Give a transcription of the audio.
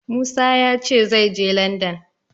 Musa ya ce zai je Landan.